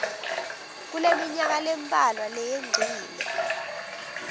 kuleminyaka lembalwa leyengcile